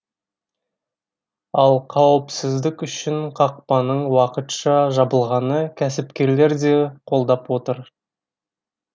ал қауіпсіздік үшін қақпаның уақытша жабылғаны кәсіпкерлер де қолдап отыр